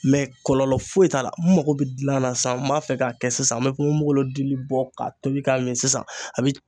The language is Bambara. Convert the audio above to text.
kɔlɔlɔ foyi t'a la n mago bɛ dilan sisan n b'a fɛ k'a kɛ sisan n mɛ ponponbogolo dili bɔ k'a tobi k'a min sisan.